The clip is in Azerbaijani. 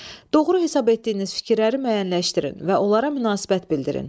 Doğru hesab etdiyiniz fikirləri müəyyənləşdirin və onlara münasibət bildirin.